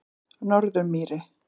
Norðurmýri